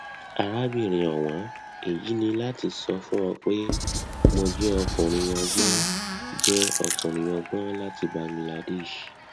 arábìnrin ọwọn èyí ni láti sọ fún ọ pé mo jẹ ọkùnrin ọgbọn jẹ ọkùnrin ọgbọn ọdún láti bangladesh